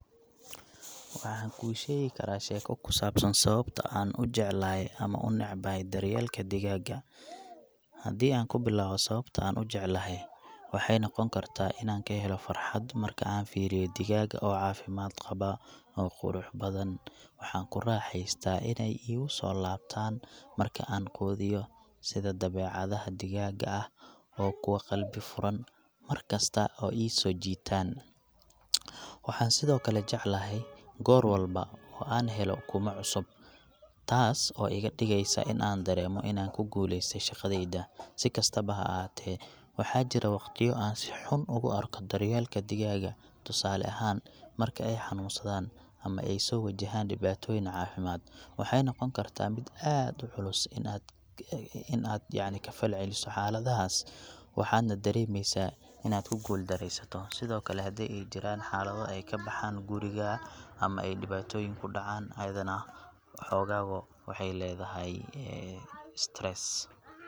Waxaan kuu sheegi karaa sheeko kusaabsan sababta aan ujeclahay ama unacbahay daryeelka digaaga, hadii aan kubilaawo sababta aan ujeclahay, waxaay noqon kartaa inaan kahelo farxad markaan aan fiiriyo digaaga oo cafimaad qaba oo qurux badan, waxaan ku raaxeystaa inaay igu soo laabtaan marki aan quudiyo sida dabecadaha digaaga ah, oo kuwa qalbi furan dankasta iga soo jiitaan, waxaan sido kale jeclahay goor walbo oo aan helo kumanaan cusub taas oo iiga digeeysa in aan dareemo inaan ku guuleste shaqadeyda, sikastaba haahate waxaa jiro waqtiyo aan si xun u arko daryeelka digaaga, tusaale ahaan, marki aay xanuun sadaan ama aay soo wajahaan dibaatoyin xumaad, waxaayna noqon kartaa mid aad uculus in aad kafal celiso xaaladahaas, waxaadna dareemeysa inaad ku guul dareesato sido kale hadii aay jiraan xalada aay kabaxaan guriga ama aay dibaatoyin kudacaan ayadana xoogaa waxaay ledahay [stress].